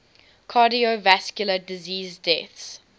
cardiovascular disease deaths